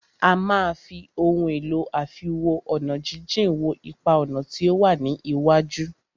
A máà fí ohun èlò àfiwo-ọ̀nàjíjìn wo ipa-ọ̀nà tí o wá ní iwájú.